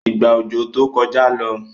Ìgbà ọjọ tó kọjá ló.